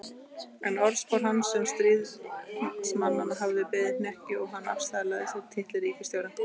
En orðspor hans sem stríðsmanns hafði beðið hnekki og hann afsalaði sér titli ríkisstjóra.